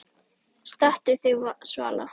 Stattu þig, Svala